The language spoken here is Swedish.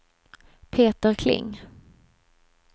Peter Kling